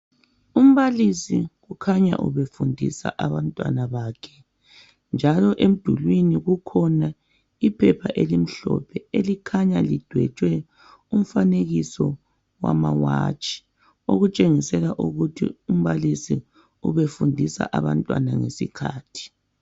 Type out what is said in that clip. Umbalisi ukhanya ubefundisa abantwana bakhe. Njalo emdulini kukhona iphepha elimhlophe elikhanya lidwetshwe umfanekiso wamawatshi. Okutshengisa ukuthi umbalisi ubefundisa abantwana ngesikhathi.